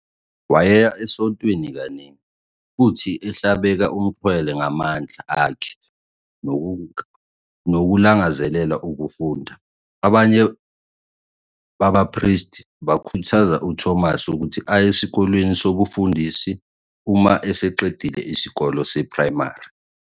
Wayeya esontweni kaningi, futhi ehlabeke umxhwele ngamandla akhe nokulangazelela ukufunda, abanye babapristi bakhuthaza uThomas ukuthi aye esikoleni sobufundisi uma eseqedile isikole seprayimari.